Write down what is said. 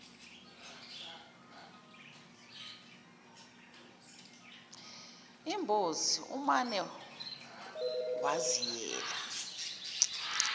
imbuzi umane waziyela